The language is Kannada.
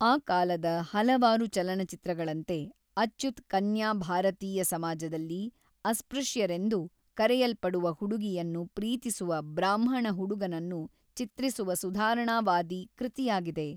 ಆ ಕಾಲದ ಹಲವಾರು ಚಲನಚಿತ್ರಗಳಂತೆ, ಅಚ್ಯುತ್ ಕನ್ಯಾ ಭಾರತೀಯ ಸಮಾಜದಲ್ಲಿ ಅಸ್ಪೃಶ್ಯರೆಂದು ಕರೆಯಲ್ಪಡುವ ಹುಡುಗಿಯನ್ನು ಪ್ರೀತಿಸುವ ಬ್ರಾಹ್ಮಣ ಹುಡುಗನನ್ನು ಚಿತ್ರಿಸುವ ಸುಧಾರಣಾವಾದಿ ಕೃತಿಯಾಗಿದೆ.